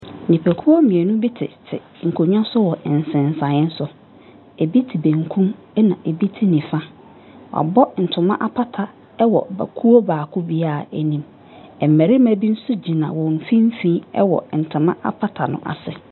Nipa kuo mienu mo tete nkonwa so wɔ nsesaeɛ so. Ebi te benkum ɛna emɛ te nifa. W'abɔ ntoma apata ɛwɔ kuo baako bia enim. Mbɛrima bi so gyina wɔn mfimfini ɛwɔ ntoma apata no ase.